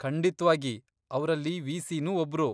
ಖಂಡಿತ್ವಾಗಿ, ಅವ್ರಲ್ಲಿ ವಿ.ಸಿ.ನೂ ಒಬ್ರು.